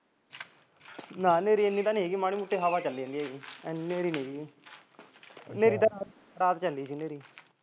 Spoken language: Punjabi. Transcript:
ਨਾ ਨੇਰੀ ਐਨੀ ਤਾਂ ਨੀ ਮਾੜੀ ਮੋਟੀ ਨੇਰੀ ਚੱਲੀ ਜਾਂਦੀ ਹੈ ਐਨੀ ਨੇਰੀ ਨੀ ਨੇਰੀ ਤਾਂ ਰਾਤ ਚੱਲੀ ਸੀ